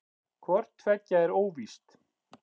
Hvort tveggja er óvíst.